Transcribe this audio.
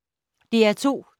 DR2